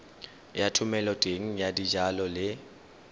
ya thomeloteng ya dijalo le